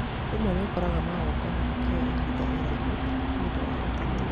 Rĩmwe nĩũkoraga magongona makĩoya ihinda iraihu nĩũndũ wa ũteti